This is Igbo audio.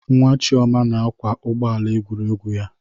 Nwa Chioma na-akwa ụgbọ ala egwuregwu ya.